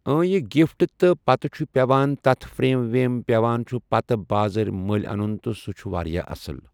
اۭں یہِ گفٹ تہٕ پتہٕ چھُ پٮ۪وان تتھ فریم ویم پٮ۪وان چھُ پتہٕ بازرٕ مٔلۍ انُن تہٕ سُہ چھُ واریاہ اصٕل۔